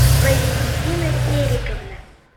валентина сериковна